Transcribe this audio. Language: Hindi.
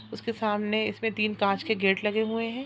उसके सामने इसमें तीन कांच के गेट लगे हुए हैं।